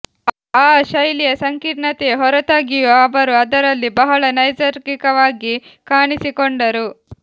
ಆ ಶೈಲಿಯ ಸಂಕೀರ್ಣತೆಯ ಹೊರತಾಗಿಯೂ ಅವರು ಅದರಲ್ಲಿ ಬಹಳ ನೈಸರ್ಗಿಕವಾಗಿ ಕಾಣಿಸಿಕೊಂಡರು